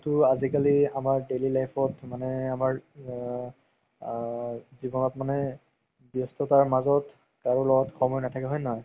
যিহেতু আজিকালি আমাৰ daily life ত মানে আমাৰ আ জিৱনত মানে ব্যস্ততাৰ মাজত কাৰো লগত সময় নাথাকে হয় নে নহয়